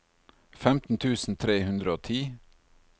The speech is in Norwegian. femten tusen tre hundre og ti